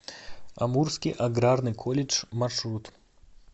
амурский аграрный колледж маршрут